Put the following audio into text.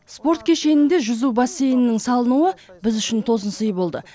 спорт кешенінде жүзу бассейнінің салынуы біз үшін тосынсый болды